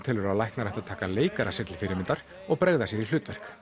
telur að læknar ættu að taka leikara sér til fyrirmyndar og bregða sér í hlutverk